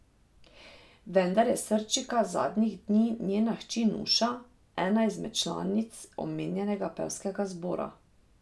Vendar je srčika zadnjih dni njena hči Nuša, ena izmed članic omenjenega pevskega zbora.